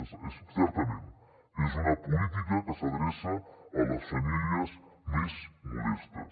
sí certament és una política que s’adreça a les famílies més modestes